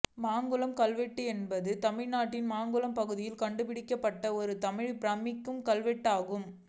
மாங்குளம் கல்வெட்டு என்பது தமிழ்நாட்டின் மாங்குளம் பகுதியில் கண்டு பிடிக்கப்பட்ட ஒரு தமிழ் பிராமிக் கல்வெட்டு ஆகும்